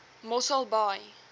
mosselbaai